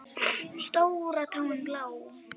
Stóra táin blá.